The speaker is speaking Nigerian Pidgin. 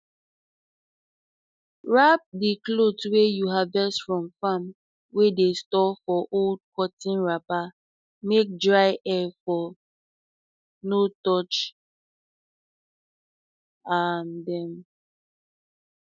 wrap di crop wey you harvest from farm wey dey store for old cotton wrapper make dry air for no touch um dem